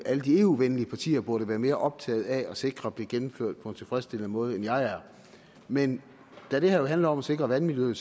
alle de eu venlige partier vel burde være mere optaget af at sikre blev gennemført på en tilfredsstillende måde end jeg er men da det her jo handler om at sikre vandmiljøet